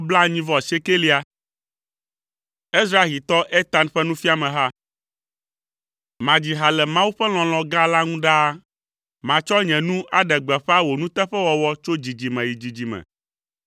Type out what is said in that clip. Ezrahitɔ Etan ƒe nufiameha. Madzi ha le Mawu ƒe lɔlɔ̃ gã la ŋu ɖaa, matsɔ nye nu aɖe gbeƒã wò nuteƒewɔwɔ tso dzidzime yi dzidzime.